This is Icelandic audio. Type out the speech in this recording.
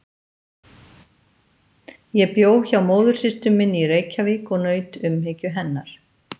Ég bjó hjá móðursystur minni í Reykjavík og naut umhyggju hennar.